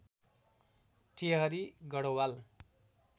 Tehri Garhwal